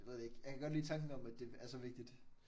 Jeg ved det ikke. Jeg kan godt lide tanken om at det er så vigtigt